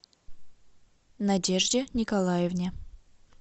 надежде николаевне